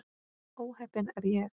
Ó heppin er ég.